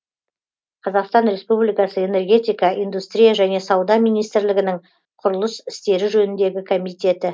қазақстан республикасы энергетика индустрия және сауда министрлігінің құрылыс істері жөніндегі комитеті